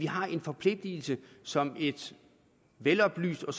har en forpligtelse som et veloplyst og